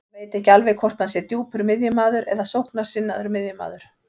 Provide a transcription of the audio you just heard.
Hann veit ekki alveg hvort hann sé djúpur miðjumaður eða sóknarsinnaður miðjumaður.